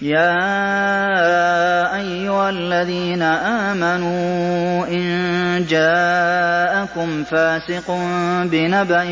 يَا أَيُّهَا الَّذِينَ آمَنُوا إِن جَاءَكُمْ فَاسِقٌ بِنَبَإٍ